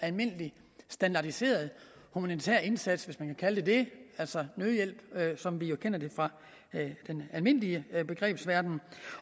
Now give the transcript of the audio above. almindelig standardiseret humanitær indsats hvis man kan kalde det det altså nødhjælp som vi jo kender det fra den almindelige begrebsverden